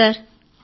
అవును సర్